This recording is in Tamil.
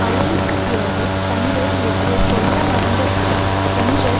அழகி க்குப் பிறகு தங்கர் இயக்கிய சொல்ல மறந்த கதை தென்றல்